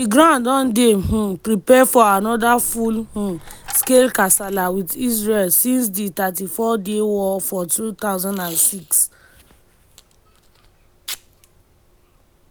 di group don dey um prepare for anoda full um scale kasala wit israel since di 34 day war for 2006.